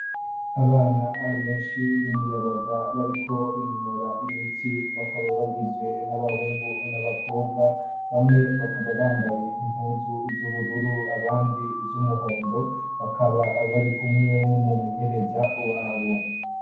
Abana benshi bimiyabaga bariko binonora imitsi ,bakaba bagizwe n'abahungu ,n'abakobwa, bamwe bakaba bambaye inpuzu z'ubururu ,abandi iz'umuhondo, bakaba bari kumwe n'umumenyereza wabo.